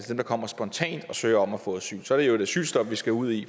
dem der kommer spontant og søger om at få asyl så er det jo et asylstop vi skal ud i